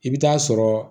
I bɛ taa sɔrɔ